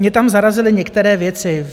Mě tam zarazily některé věci.